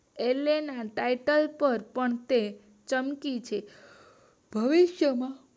ઓલે ના ટાઇટલ પર પણ તે ચમકી છે. હવે શું છે?